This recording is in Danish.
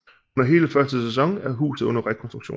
Under hele første sæson er huset under rekonstruktion